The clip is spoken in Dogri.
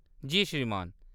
जी श्रीमान।